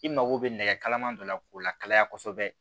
I mago bɛ nɛgɛ kalaman dɔ la k'o lakalaya kosɛbɛ